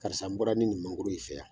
Karisa n bɔra ni nin mangoro ye i fɛ yan